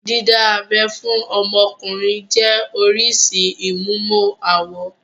Dídá abẹ́ fún ọmọkùnrin jẹ́ oríṣìí ìmúmọ-awọ.